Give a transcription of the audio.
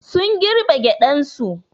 Sun girbe gyaɗan su.